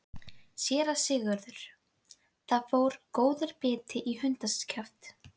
SÉRA SIGURÐUR: Þar fór góður biti í hundskjaft.